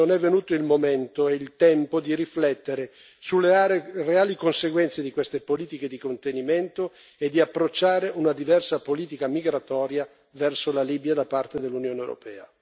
Mi chiedo, e Le chiedo, se non è venuto il momento e il tempo di riflettere sulle reali conseguenze di queste politiche di contenimento e di approcciare una diversa politica migratoria verso la Libia da parte dell'Unione europea.